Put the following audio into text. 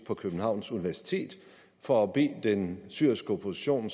på københavns universitet for at bede den syriske opposition